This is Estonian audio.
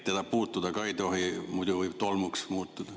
Teda puutuda ei tohi, muidu ta võib tolmuks muutuda.